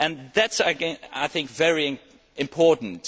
That is again, I think, very important.